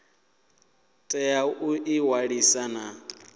tea u ḓi ṅwalisa na